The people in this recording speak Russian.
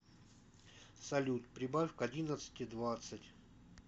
салют прибавь к одиннадцати двадцать